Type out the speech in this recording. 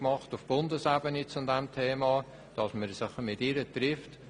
Sie hat zu diesem Thema einen Vorstoss auf Bundesebene eingereicht.